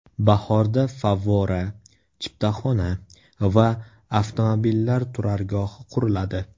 Bahorda favvora, chiptaxona va avtomobillar turargohi quriladi.